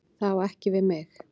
Það á ekki við mig.